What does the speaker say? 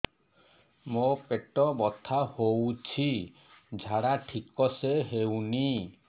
ମୋ ପେଟ ବଥା ହୋଉଛି ଝାଡା ଠିକ ସେ ହେଉନି